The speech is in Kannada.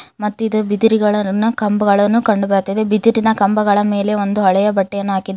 ಮತ್ತಿದ ಬಿದಿರಿಗಳರನ್ನ ಕಂಬಗಳನ್ನು ಕಂಡು ಬರ್ತ್ತಿದೆ ಬಿದಿರಿನ ಕಂಬಗಳ ಮೇಲೆ ಒಂದು ಹಳೆಯ ಬಟ್ಟೆಯನ್ನು ಹಾಕಿದ್ದಾರೆ ನ--